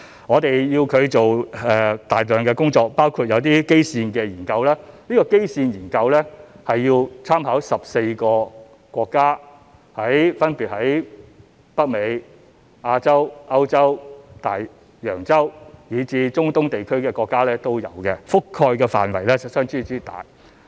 我們要求他們做大量工作，包括一些基線研究，而這些基線研究需參考14個分別位於北美、亞洲、歐洲、大洋洲，以至中東地區的國家也有，所覆蓋的範圍相當廣泛。